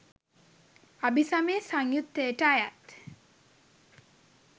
අභිසමය සංයුත්තයට අයත්